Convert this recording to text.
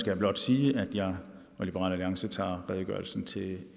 jeg blot sige at jeg og liberal alliance tager redegørelsen til